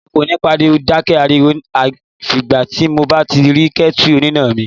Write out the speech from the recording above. Èmi kò ní dákẹ́ ariwo àfi ìgbà tí mo bá tó rí kẹ́tù oníná mi.